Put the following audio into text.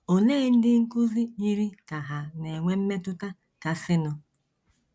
Olee ndị nkụzi yiri ka hà na - enwe mmetụta kasịnụ?